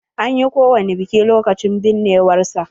An yi ko wani biki lokacin binnewar sa?